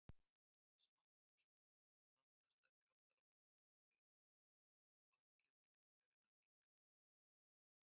Smátt og smátt blandast þær kaldara lofti frá hliðunum og ákefð lyftingarinnar minnkar.